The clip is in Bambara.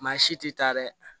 Maa si tɛ taa dɛ